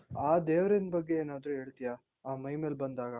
ಆ ದೇವ್ರಿನ್ ಬಗ್ಗೆ ಏನಾದ್ರೂ ಹೇಳ್ತೀಯಾ? ಆ ಮೈ ಮೇಲ್ ಬಂದಾಗ